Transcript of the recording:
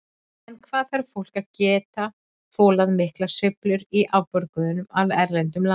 En hvað þarf fólk að geta þolað miklar sveiflur í afborgunum af erlendu lánunum?